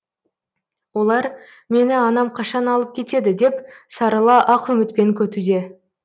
олар мені анам қашан алып кетеді деп сарыла ақ үмітпен күтуде